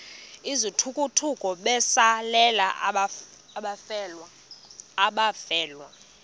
izithukuthuku besalela abafelwa